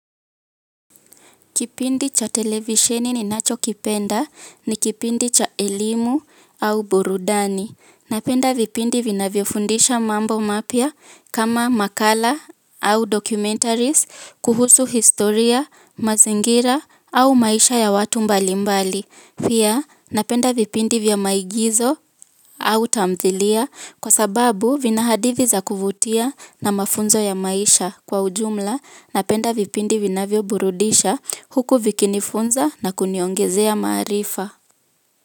Kipindi cha televisheni ninacho kipenda ni kipindi cha elimu au burudani. Napenda vipindi vinavyofundisha mambo mapya kama makala au documentaries, kuhusu historia, mazingira au maisha ya watu mbalimbali. Pia napenda vipindi vya maigizo au tamthilia kwa sababu vina hadithi za kuvutia na mafunzo ya maisha kwa ujumla. Napenda vipindi vinavyo burudisha huku vikinifunza na kuniongezea maarifa.